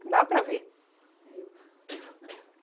Não dava para ver.